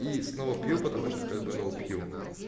и снова пью потому что как бы ну пью